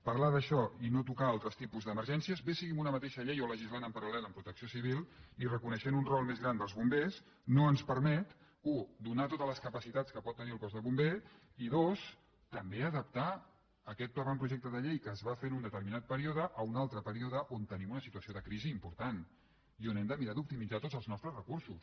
parlar d’això i no tocar altres tipus d’emergències bé sigui en una mateixa llei o le·gislant en paral·lel protecció civil i reconeixent un rol més gran dels bombers no ens permet u donar totes les capacitats que pot tenir al cos de ombers i dos també adaptar aquest avantprojecte de llei que es va fer en un determinat període a un altre període on te·nim una situació de crisi important i on hem de mirar d’optimitzar tots els nostres recursos